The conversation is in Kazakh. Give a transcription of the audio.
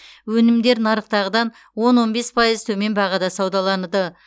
өнімдер нарықтағыдан он он бес пайыз төмен бағада саудаланды